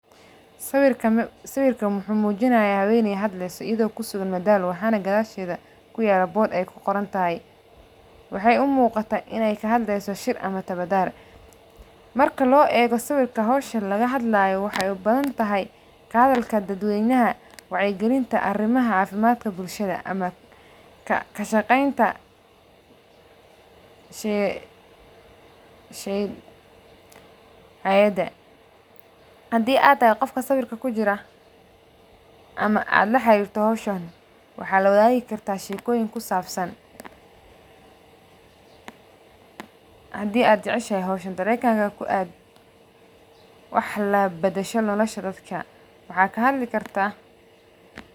Sawirkan wuxuu mujinaya haweney hadleyso iyada oo kusugan madama waxana gadasheda kuyala boq ee ku qorontahay waxee u muqataa in ee kahadleyso shir, marka ee muqato hosha laga hadlayo waxee u badantahay kahadalka dad weynaha wacyi galinta arimaha bulshada ama kashaqenta hayada, hadii aa tahay qofka sawirka kujira ama aa la xarirta hoshan waxaa lawadhagi karta shekoyin kusabsan hadii aad jeceshahay hoshan darenkaga ku ad waxaa ka hadli kartaa.